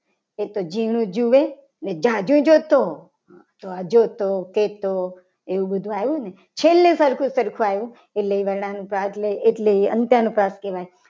એ તો ઝીણું જોવે અને જાજુ જોતો જોતો કહેતો એવું બધું આવ્યું. ને છેલ્લે સરખું સરખું આવ્યું એટલે એ વર્ણાનુપ્રાસ એટલે એ અંતે અનુપ્રાસ કહેવાય.